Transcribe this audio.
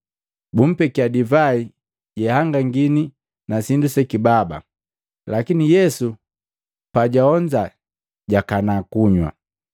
Bumpekia divai jeahangangini na sindu sekibaba, lakini Yesu pajwaonza jwakanaa kunywa.